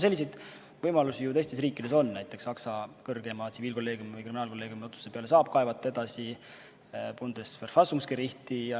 Selliseid võimalusi ju teistes riikides on, näiteks Saksa kõrgeima tsiviilkolleegiumi või kriminaalkolleegiumi otsuse peale saab kaevata edasi Bundesverwaltungsgerichti ...